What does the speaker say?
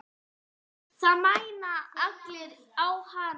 Það mæna allir á hana.